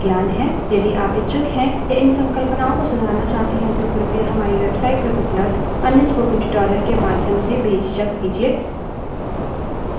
यदि आप इच्छुक हैं या इन संकल्पनाओं को सुधारना चाहते हैं तो कृपया हमारी website पर उपलब्ध अन्य spoken tutorial के माध्यम से बेझिझक कीजिए